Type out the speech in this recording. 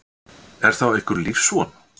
Er þá einhver lífsvon?